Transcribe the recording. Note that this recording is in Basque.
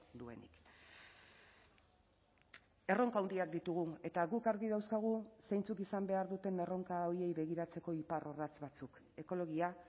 duenik erronka handiak ditugu eta guk argi dauzkagu zeintzuk izan behar duten erronka horiei begiratzeko iparrorratz batzuk ekologia